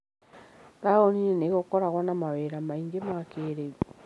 Taũni-inĩ nĩ gũkoragwo na mawĩra maingĩ ma kĩĩrĩu.